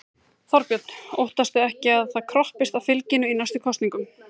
Þorbjörn: Óttastu ekki að það kroppist af fylginu í næstu kosningum?